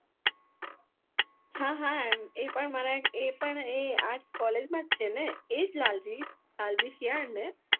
હા હા એ પણ મારા એ પણ એ આ college ના જ સેને એજ લાલજી